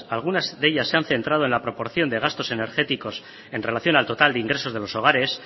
algunas de ellas se han centrado en la proporción de gastos energéticos en relación al total de ingresos de los hogares